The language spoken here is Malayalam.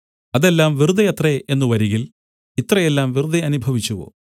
അതെല്ലാം വെറുതെ അത്രേ എന്നു വരികിൽ ഇത്ര എല്ലാം വെറുതെ അനുഭവിച്ചുവോ